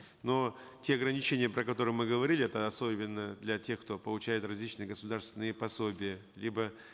но те ограничения про которые мы говорили это особенно для тех кто получает различные государственные пособия либо